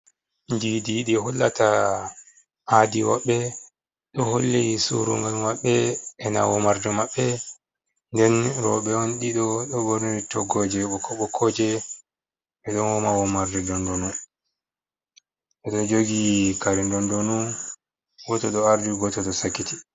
Kujeeji ɗi hollata aadi maɓɓe ɗo holli surungal maɓɓe e na woma womarde maɓbe nden rooɓe on ɗiɗo dɗo ɓonri toggooje bokko bokkooje ɓe ɗo woma womarde dondonu ɓe ɗo jogi kare ndonndonu goooto ɗo ardi gooto ɗo sakiti.